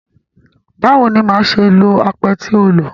Báwo ni màá ṣe lo apẹ tí o lò?